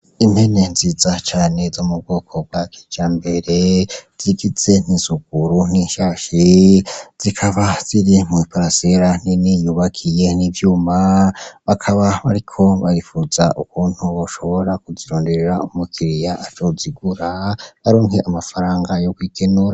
Impene nziza cane zo mu bwoko bwa kijambere, zigize n'isuguru n'ishashi, zikaba ziri mw'iparasera nini yubakiye n'ivyuma, bakaba bariko baripfuza ukuntu boshobora kuzironderera umukiriya azozigura aronke amafaranga yo kwikenura.